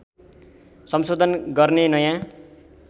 संशोधन गर्ने नयाँ